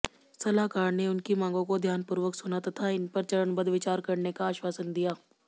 सलाहकार ने उनकी मांगों को ध्यानपूर्वक सुना तथा इनपर चरणबद्ध विचार करने का आश्वासन दिया